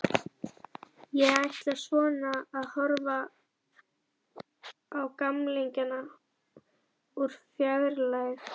Ég ætla svona að horfa á gamlingjana úr fjarlægð.